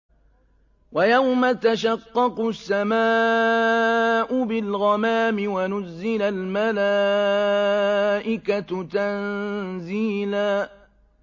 وَيَوْمَ تَشَقَّقُ السَّمَاءُ بِالْغَمَامِ وَنُزِّلَ الْمَلَائِكَةُ تَنزِيلًا